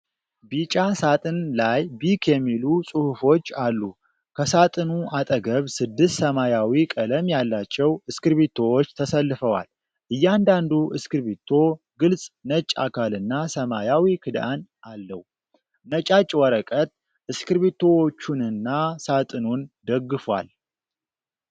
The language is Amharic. ቢጫ ሳጥን ላይ ቢክ የሚሉ ጽሑፎች አሉ። ከሳጥኑ አጠገብ ስድስት ሰማያዊ ቀለም ያላቸው እስክሪብቶዎች ተሰልፈዋል። እያንዳንዱ እስክሪብቶ ግልጽ ነጭ አካልና ሰማያዊ ክዳን አለው። ነጫጭ ወረቀት እስክሪብቶዎቹንና ሳጥኑን ደግፏል።